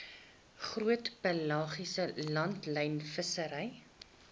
groot pelagiese langlynvissery